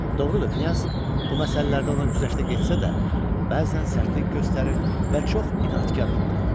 Doğrudur, Knyaz bu məsələlərdə ona güzəştə getsə də, bəzən sərtlik göstərir və çox inadkar olurdu.